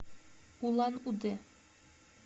улан удэ